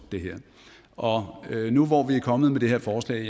og nu hvor vi er kommet med det her forslag